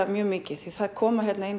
mjög mikið því það koma